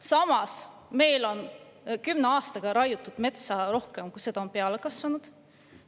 Samas, meil on kümne aastaga raiutud metsa rohkem, kui seda on peale kasvanud.